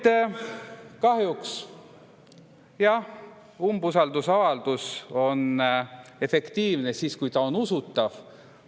Nii et kahjuks, jah, umbusaldusavaldus on efektiivne siis, kui ta on usutav.